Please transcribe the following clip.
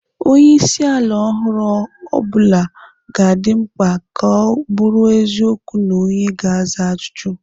Onye isi ala ọhụrụ ọ bụla ga-adị mkpa ka ọ bụrụ eziokwu na onye ga-aza ajụjụ.